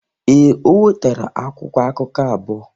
Ee, o nwetara akwụkwọ akụkụ abụọ.